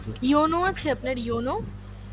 yono আছে আপনার yono ?